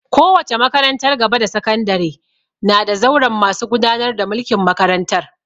Kowace makarantar gaba da sakandare na da zauren masu gudanar da mulkin makarantar